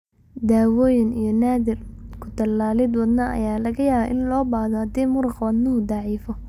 Daawooyin iyo naadir, ku-tallaalid wadnaha ayaa laga yaabaa in loo baahdo haddii muruqa wadnuhu daciifo.